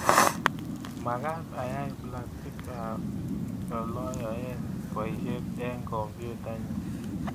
Magaat ayat plakitab oloyoen boishet eng kompyutainyu